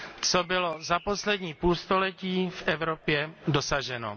co bylo za poslední půlstoletí v Evropě dosaženo.